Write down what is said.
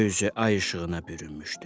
Göy üzü ay işığına bürünmüşdü.